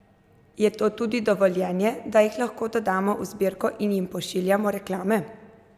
Je to tudi dovoljenje, da jih lahko dodamo v zbirko in jim pošiljamo reklame?